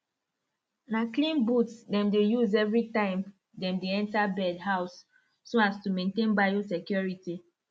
na clean booth them dey use every time dem dey enter bird house so as to maintain biosecurity